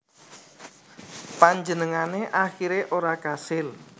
Panjenengané akhiré ora kasil